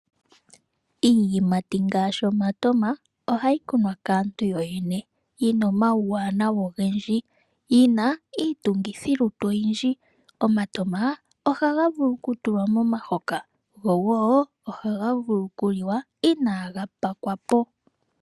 Iiyimati ngaashi omatama ohaga kunwa kaantu yoyene. Oyina uuwanawa owundji yo oyi na iitungithilutu oyindji. Omatama ohaga vulu okutulwa momahoka go woo ohaga vulu okuliwa inaaga telekwa.